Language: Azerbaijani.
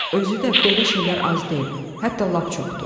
Özü də belə şeylər az deyil, hətta lap çoxdur.